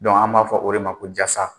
an b'a fɔ o de ma ko jasa.